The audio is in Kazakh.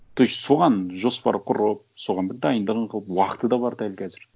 то есть соған жоспар құрып соған бір дайындығын қылып уақыты да бар дәл қазір